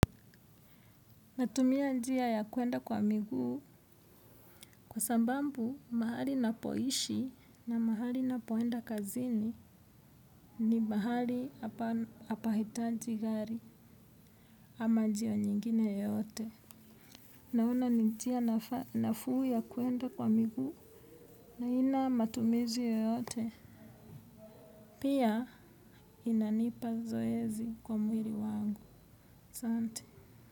Natumia njia ya kuenda kwa miguu kwa sababu mahali napoishi na mahali napoenda kazini ni mahali hapa hitaji gari ama njia nyingine yeyote. Naona njia nafuu ya kuenda kwa miguu na ina matumizi yeyote. Pia inanipa zoezi kwa mwili wangu. Asante.